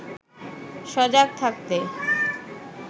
সজাগ থাকতে